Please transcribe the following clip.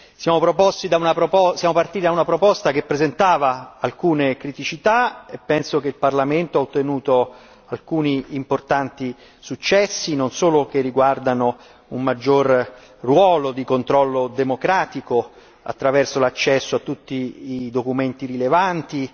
Siamo partiti da una proposta che presentava alcune criticità, penso che il Parlamento abbia ottenuto alcuni importanti successi non solo che riguardano un maggiore ruolo di controllo democratico, attraverso l'accesso a tutti i documenti rilevanti